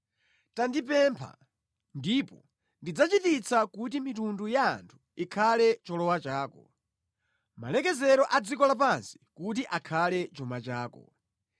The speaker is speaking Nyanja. Tandipempha, ndipo ndidzachititsa kuti mitundu ya anthu ikhale cholowa chako; malekezero a dziko lapansi kuti akhale chuma chako.